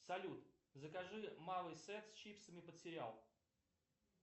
салют закажи малый сет с чипсами под сериал